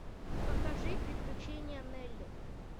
покажи приключения нелли